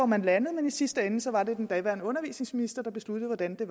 man landede men i sidste ende var det den daværende undervisningsminister der besluttede hvordan det